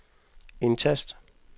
indtast